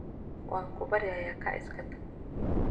Wankubaryaya kaac iskatag.